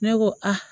Ne ko a